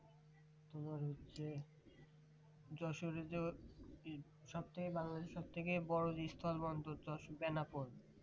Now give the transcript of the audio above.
এবার হচ্ছে যশোর যে সব থেকে বাংলাদেশ এর সব থেকে বড়ো যে স্থল বন্দর তা হচ্ছে বেনাপোল